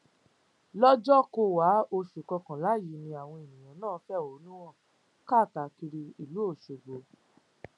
lọjọkọwàá oṣù kọkànlá yìí ni àwọn èèyàn náà fẹhónú hàn káàkiri ìlú ọṣọgbó